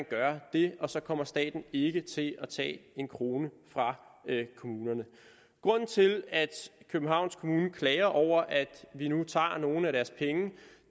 gøre det og så kommer staten ikke til at tage en krone fra kommunerne grunden til at københavns kommune klager over at vi nu tager nogle af deres penge